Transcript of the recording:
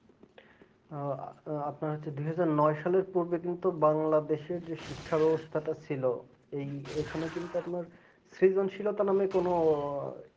আপনার হচ্ছে দু হাজার নয় সালে বাংলাদেশের যে শিক্ষা ব্যবস্থাটা ছিল ওই এখানে কিন্তু আপনার সৃজনশীলতা মানে কোন